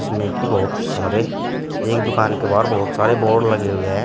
इसमें की बहुत सारे एक दुकान के बाहर बहुत सारे बोर्ड लगे हुए हैं।